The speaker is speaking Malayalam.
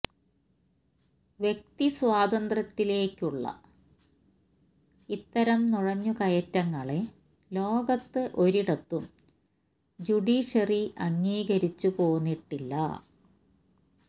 വ്യക്തി സ്വാതന്ത്രത്തിലേക്കുള്ള ഇത്തരം നുഴഞ്ഞു കയറ്റങ്ങളെ ലോകത്ത് ഒരിടത്തും ജ്യൂഡൂഷ്യറി അംഗീകരിച്ചു പോന്നിട്ടില്ല